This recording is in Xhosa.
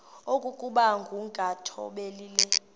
okokuba ukungathobeli le